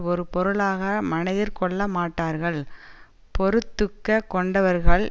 ஒரு பொருளாக மனத்திற் கொள்ள மாட்டார்கள் பொறுத்துக்க கொண்டவர்கள்